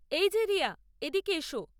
এই যে রিয়া, এদিকে এস।